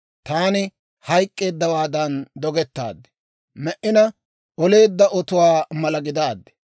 Taani hayk'k'eeddawaadan dogettaad; me"ina oleedda otuwaa mala gidaaddi.